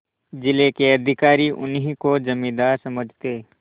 जिले के अधिकारी उन्हीं को जमींदार समझते